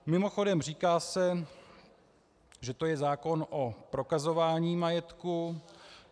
Mimochodem, říká se, že to je zákon o prokazování majetku.